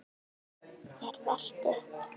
er velt upp.